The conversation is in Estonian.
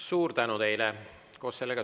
Suur tänu teile!